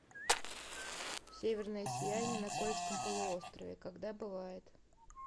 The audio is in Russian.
северное сияние на кольском полуострове когда бывает